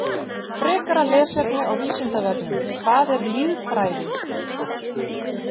Frekara lesefni á Vísindavefnum: Hvað er lýðfræði?